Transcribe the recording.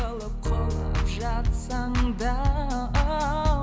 құлап жатсаң да оу